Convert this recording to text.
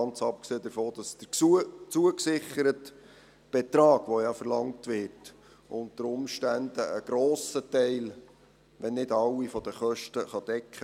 Ganz abgesehen davon, dass der zugesicherte Betrag, der ja verlangt wird, unter Umständen einen grossen Teil, wenn nicht alle Kosten, decken kann.